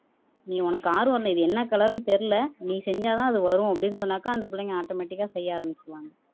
நீ உனக்கு ஆர்வம் இல்லை இது என்ன கலர்ன்னு தெரியலே நீ செஞ்சாதான் அது வரும் அப்படின்னு சொன்னாக்கா அந்த பிள்ளைங்க ஆட்டோமேட்டிக்கா செய்ய ஆரம்பிச்சிருவாங்க